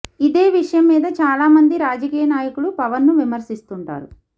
ఇదే విషయం మీద చాలా మంది రాజకీయ నాయకులు పవన్ ను విమర్శిస్తుంటారు